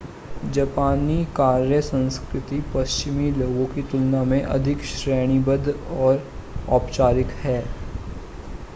जापानी कार्य संस्कृति पश्चिमी लोगों की तुलना में अधिक श्रेणीबद्ध और औपचारिक है